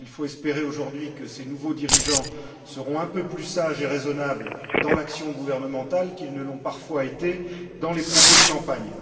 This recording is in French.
Il faut espérer, aujourd'hui, que ces nouveaux dirigeants seront un peu plus sages et raisonnables dans l'action gouvernementale qu'ils ne l'ont parfois été dans les propos de campagne.